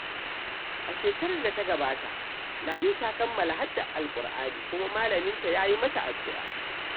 A shekarar da ta gabata, Lami ta kammala haddar Alƙur’ani kuma malaminta ya yi mata addu’a.